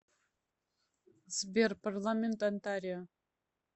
сбер парламент онтарио